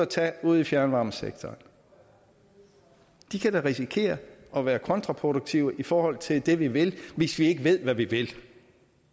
tage ude i fjernvarmesektoren da kan risikere at være kontraproduktive i forhold til det vi vil hvis vi ikke ved hvad vi vil